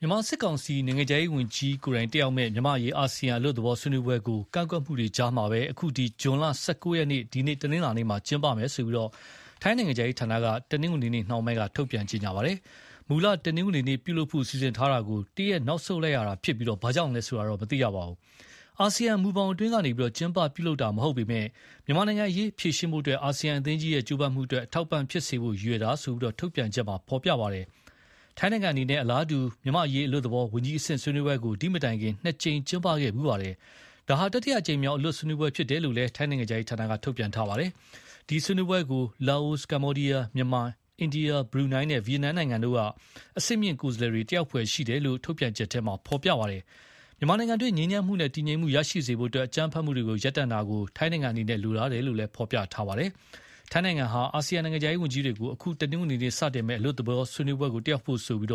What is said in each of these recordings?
မြန်မာစစ်ကောင်စီ နိုင်ငံခြားရေးဝန်ကြီးတက်ရောက်မယ့် မြန်မာ့အရေးအာဆီယံအလွတ်သဘော ဆွေးနွေးပွဲကိုကန့်ကွက်မှုတွေကြားကပဲ ဇွန် ၁၉ရက် အခု တနင်းလာနေ့မှာ ကျင်းပမယ်လို့ ထိုင်းနိုင်ငံခြားရေးဌာနက တနင်္ဂနွေနေ့နှောင်းပိုင်းက ထုတ်ပြန်ကြေညာပါတယ်။ မူလတနင်္ဂနွေနေ့ ပြုလုပ်ဖို့ စီစဉ်ထားတာကို တရက်နောက်ဆုတ်လိုက်ရတာဖြစ်ပြီး၊ ဘာကြောင့်လဲဆိုတာ တော့မသိရပါဘူး။ အာဆီယံမူဘောင်အတွင်းကနေ ကျင်းပပြုလုပ်တာမဟုတ်ပေမယ့် မြန်မာ့နိုင်ငံရေး ဖြေရှင်းဖို့ အာဆီယံအသင်းကြီးရဲ့ ကြိုးပမ်းမှုအတွက် အထောက်အပံ့ဖြစ်စေဖို့ ရည်ရွယ်တာလို့ ထုတ်ပြန်ချက်မှာဖော်ပြပါတယ်။ ထိုင်းနိုင်ငံအနေနဲ့ အလားတူမြန်မာ့အရေးအလွတ်သဘော ဝန်ကြီးအဆင့်ဆွေးနွေးပွဲကို ဒီမတိုင်ကလည်း နှစ်ကြိမ်ကျင်းပခဲ့ဖူးပါတယ်။ ဒါဟာ တတိယအကြိမ်မြောက် အလွတ်ဆွေးနွေးပွဲဖြစ်တယ်လို့ ထိုင်းနိုင်ငံခြားရေးဌာနက ထုတ်ပြန်ပါတယ်။ ဒီဆွေးနွေးပွဲကို လာအို၊ ကမ္ဘောဒီယား၊ မြန်မာ၊ အိန္ဒိယ၊ဘရူနိုင်းနဲ့ ဗီယက်နမ်နိုင်ငံတို့က အဆင့်မြင့်ကိုယ်စားလှယ်တွေ တက်ရောက်ဖွယ်ရှိတယ်လို့လည်း ထုတ်ပြန်ချက်ထဲ ဖော်ပြပါတယ်။ မြန်မာနိုင်ငံတွင်း ငြိမ်းချမ်းမှုနဲ့ တည်ငြိမ်မှုရရှိစေဖို့ အကြမ်းဖက်မှုတွေရပ်တန့်တာကို ထိုင်းနိုင်ငံအနေနဲ့ လိုလားတယ်လို့ ဖော်ပြပါတယ်။ ထိုင်းနိုင်ငံဟာ အာဆီယံနိုင်ငံခြားရေးဝန်ကြီးတွေကို အခု တနင်္ဂနွေမှာစတင်မယ့် အလွတ်သဘော ဆွေးနွေးပွဲကို တက်ရောက်ဖို့ဆိုပြီး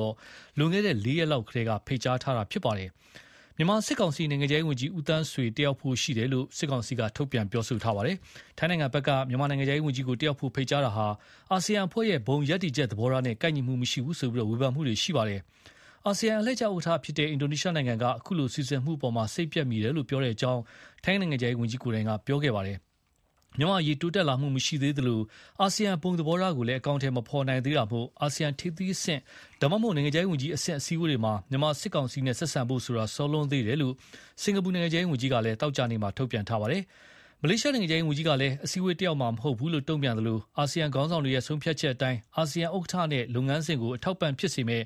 လွန်ခဲ့တဲ့လေးရက်လောက်ကတည်းက ဖိတ်ကြားခဲ့တာပါ။ မြန်မာစစ် ကောင်စီ နိုင်ငံခြားရေးဝန်ကြီး ဦးသန်းဆွေတက်ရောက်ဖို့ရှိတယ်လို့ ရိုက်တာသတင်းမှာရေးပါတယ်။ ထိုင်းနိုင်ငံဖက်က မြန်မာနိုင်ငံခြားရေးဝန်ကြီးကို တက်ရောက်ဖို့ ဖိတ်ကြားတာဟာ အာဆီယံအဖွဲ့ရဲ့ ဘုံရပ်တည်ချက်သဘောထားနဲ့ ကိုက်ညီမှုမရှိဘူးဆိုပြီး ဝေဖန်မှုတွေထွက်ခဲ့ပါတယ်။ အာဆီယံအလှည့်ကျ ဥက္ကဌ အင်ဒိုနီးရှားနိုင်ငံက အခုလိုစီစဉ်မှုကို စိတ်ပျက်မိတယ်လို့ ပြောတဲ့အကြောင်း ထိုင်းနိုင်ငံခြားရေးဝန်ကြီး ကိုယ်တိုင်က ပြောခဲ့ပါတယ်။ မြန်မာ့အရေးတိုးတက်လာမှုမရှိသေးသလို အာဆီယံဘုံသဘေထားကိုလည်း အကောင်အထည်မဖော်နိုင်သေးတာမို့ အာဆီယံထိပ်သီးအဆင့် ဒါမှမဟုတ် နိုင်ငံခြားရေးဝန်ကြီးအဆင့် အစည်းအဝေးတွေမှာ မြန်မာစစ်ကောင်စီနဲ့ဆက်ဆံဖို့ဆိုတာ စောလွန်းသေးတယ်လို့ စင်္ကာပူနိုင်ငံခြားရေးဝန်ကြီးက သောကြာနေ့က တုန့်ပြန်ထားပါတယ်။ မလေးရှားနိုင်ငံခြားရေးဝန်ကြီးကလည်း အစည်းအဝေးတက်ရောက်မှာမဟုတ်ဘူးလို့ တုန့်ပြန်သလို အာဆီယံခေါင်းဆာင်တွေရဲ့ဆုံးဖြတ်ချက်အတိုင်း အာဆီယံဥက္ကဌနဲ့ လုပ်ငန်းစဉ်ကို အထောက် အပံ့ဖြစ်စေမယ်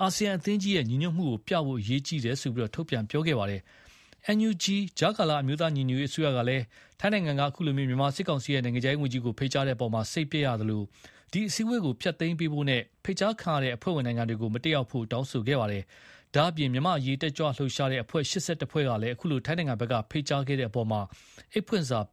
အာဆီယံအသင်းကြီးရဲ့ညီညွတ်မှုပြဖို့ အရေးကြီးတယ်လို့ ထုတ်ပြန်ခဲ့ပါတယ်။ NUG ကြားကာလ အမျိုးသားညီညွတ်ရေးအစိုးရကလည်း ထိုင်းနိုင်ငံက အခုလို မြန်မာစစ်ကောင်စီရဲ့ နိုင်ငံခြားရေးဝန်ကြီးကို ဖိတ်ကြားခဲ့တဲ့အပေါ်မှာ စိတ်ပျက်ရသလို၊ ဒီအစည်းအဝေးကို ဖျက်သိမ်းပေးဖို့နဲ့ ဖိတ်ကြားခံရတဲ့ အဖွဲ့ဝင်နိုင်ငံတွေကို မတက်ရောက်ဖို့ တောင်းဆိုခဲ့ပါတယ်။ ဒါ့အပြင် မြန်မာ့အရေး တက်ကြွလှုပ်ရှားတဲ့အဖွဲ့ ၈၁ ဖွဲ့ကလည်း အခုလို ထိုင်းနိုင်ငံဘက်က ဖိတ်ကြားခဲ့တဲ့အပေါ် အိတ်ဖွင့်ပေးစာ ပေ